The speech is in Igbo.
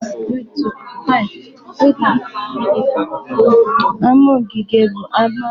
Ama ogige bụ ama nke e ji ụdị okooko osisi dị iche iche gbaa gburugburu